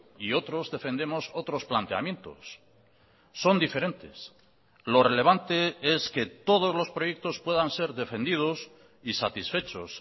y otros defendemos otros planteamientos son diferentes lo relevante es que todos los proyectos puedan ser defendidos y satisfechos